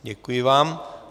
Děkuji vám.